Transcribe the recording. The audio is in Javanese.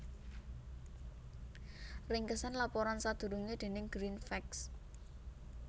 Ringkesan laporan sadurungé déning GreenFacts